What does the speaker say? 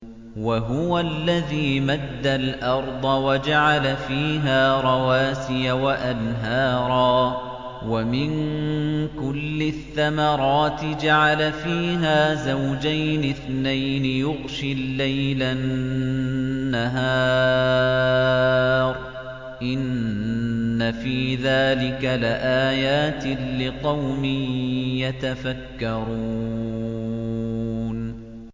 وَهُوَ الَّذِي مَدَّ الْأَرْضَ وَجَعَلَ فِيهَا رَوَاسِيَ وَأَنْهَارًا ۖ وَمِن كُلِّ الثَّمَرَاتِ جَعَلَ فِيهَا زَوْجَيْنِ اثْنَيْنِ ۖ يُغْشِي اللَّيْلَ النَّهَارَ ۚ إِنَّ فِي ذَٰلِكَ لَآيَاتٍ لِّقَوْمٍ يَتَفَكَّرُونَ